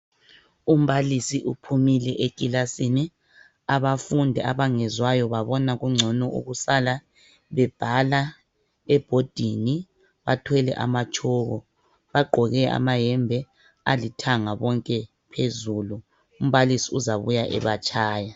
Umbalisi uphumile ekilasini abafundi abangezwayo babona kungcono ukusala bebhala ebhodini bathwele amatshoko. Bagqoke amayembe alithanga bonke phezulu. Umbalisi uzabuya ebatshaya.